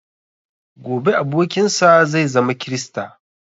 Gobe abokin sa zai zama krista